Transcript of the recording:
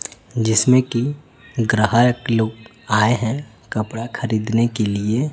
जिसमें की ग्राहक लोग आए हैं कपड़ा खरीदने के लिए।